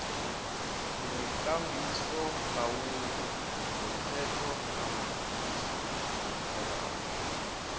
nekambisolawulo yomthethokambiso yomphakathi